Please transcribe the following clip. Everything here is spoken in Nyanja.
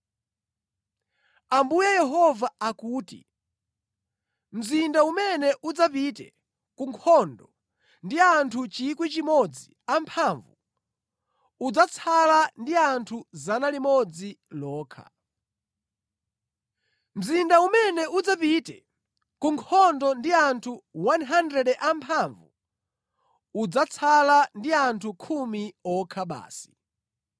Ambuye Yehova akuti, “Mzinda umene udzapite ku nkhondo ndi anthu 1,000 amphamvu udzatsala ndi anthu 100 okha; mzinda umene udzapite ku nkhondo ndi anthu 100 amphamvu udzatsala ndi anthu khumi okha basi.”